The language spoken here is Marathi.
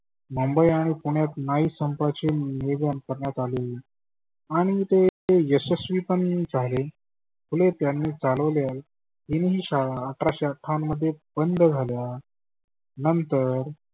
मुंबई आणि पुण्यात न्हावी संपाचे नियोजन करण्यात आले. आणि ते यशस्वी पण झाले. फुले त्यांनी चालवल्या English शाळा अठराशे अठ्ठावन्न मध्ये बंद झाल्या. नंतर